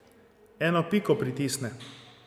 Eno piko pritisne.